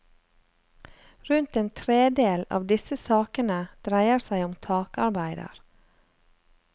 Rundt en tredel av disse sakene dreier seg om takarbeider.